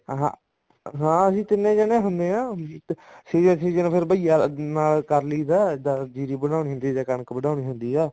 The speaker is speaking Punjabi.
ਹਾਂ ਹਾਂ ਅਸੀਂ ਤਿੰਨੇ ਜਾਣੇ ਹੁੰਦੇ ਹਾਂ ਤੀਏ ਸੀਜਨ ਫ਼ੇਰ ਭਈਆ ਨਾਲ ਕਰ ਲਈਦਾ ਜੀਰੀ ਵੜਾਉਨੀ ਹੁੰਦੀ ਆ ਜਾਂ ਕਣਕ ਵਡਾਉਣੀ ਹੁੰਦੀ ਆ